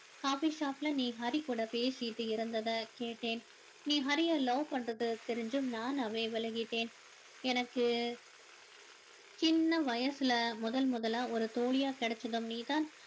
coffee shop ல நீ ஹரி கூட பேசிட்டு இருந்ததை கேட்டேன் நீ ஹரிய love பண்றது தெரிஞ்சு நானாவே விலகிட்டேன் எனக்கு சின்ன வயசுல முதல் முதலா ஒரு தோழியா கிடைச்சதும் நீதான்